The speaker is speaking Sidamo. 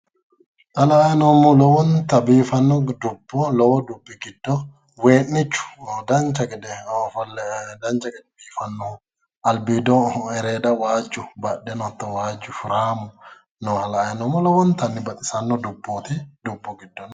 Xa la"ayi noommohu lowonta biifanno dubbo lowo dubbi giddo wee'niichu dancha gede ofolle dancha gede biifannohu albiido ereeda waajju badheno hatto waajju shuraamu nooha la"ayi noommo lowontanni baxisanno dubbooti dubbu giddo no